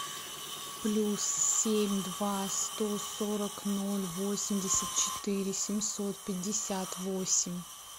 плюс семь два сто сорок ноль восемьдесят четыре семьсот пятьдесят восемь